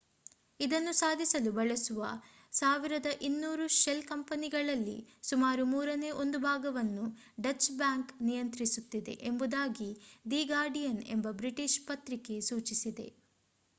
ಇದನ್ನು ಸಾಧಿಸಲು ಬಳಸುವ 1200 ಶೆಲ್ ಕಂಪನಿಗಳಲ್ಲಿ ಸುಮಾರು ಮೂರನೇ ಒಂದು ಭಾಗವನ್ನು ಡಚ್ ಬ್ಯಾಂಕ್ ನಿಯಂತ್ರಿಸುತ್ತಿದೆ ಎಂಬುದಾಗಿ ದಿ ಗಾರ್ಡಿಯನ್ ಎಂಬ ಬ್ರಿಟಿಷ್ ಪತ್ರಿಕೆ ಸೂಚಿಸಿದೆ